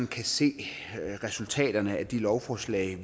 kan se resultaterne af de lovforslag